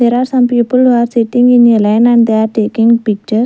there are some people who are sitting in a line and they are taking pictures.